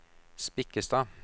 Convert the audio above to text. Spikkestad